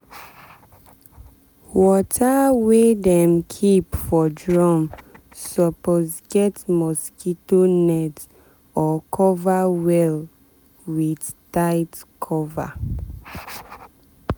water wey dem keep for drum suppose get mosquito net or cover well with tight cover.